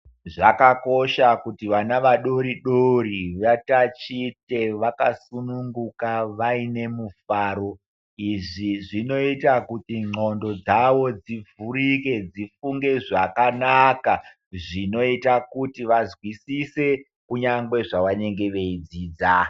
Zvakakosha kuti vana vadoridori zviyani vatatiche vakasununguka vaine mufaro zvinoita kuti ndxondo dzavo dzivhurike dzifunge zvakanaka zvinoita kuti vazwisise kunyangwe zvavanenge veidzidza.